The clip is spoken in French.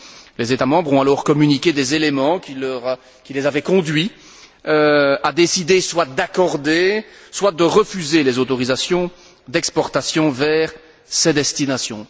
Les États membres ont alors communiqué des éléments qui les avaient conduits à décider soit d'accorder soit de refuser les autorisations d'exportation vers ces destinations.